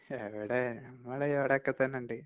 എവിടെ?! നമ്മള് ഇവിടേക്ക തന്നുണ്ട്.